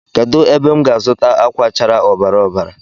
Kedu ebe m ga-azuta akwa chárá ọbara ọbara